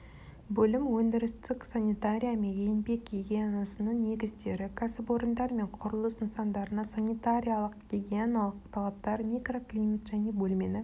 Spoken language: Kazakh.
бөлім өндірістік санитария мен еңбек гигиенасының негіздері кәсіпорындар мен құрылыс нысандарына санитариялық-гигиеналық талаптар микроклимат және бөлмені